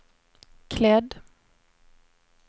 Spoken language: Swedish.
klädd